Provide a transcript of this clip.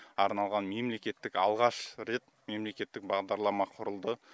арналған мемлекеттік алғаш рет мемлекеттік бағдарлама құрылды